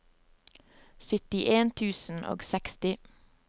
syttien tusen og seksti